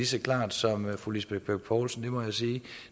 så klart som fru lisbeth bech poulsen det må jeg sige